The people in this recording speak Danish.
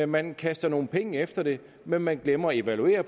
man kaster nogle penge efter det men man glemmer at evaluere